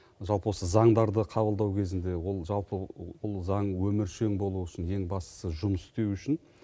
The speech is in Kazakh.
жалпы осы заңдарды қабылдау кезінде ол жалпы ол заң өміршең болуы үшін ең бастысы жұмыс істеуі үшін